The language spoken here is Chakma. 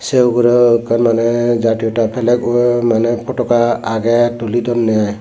sey ugurey ekkan maneh jatota pelek urey dondey potoka agey tuli donney ai.